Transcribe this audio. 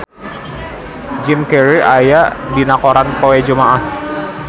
Jim Carey aya dina koran poe Jumaah